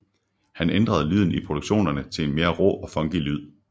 Han ændrede lyden i produktionerne til en mere rå og funky lyd